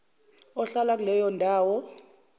ohlala kuleyo ndawo